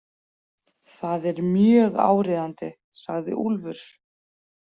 Það er mjög áríðandi, sagði Úlfur.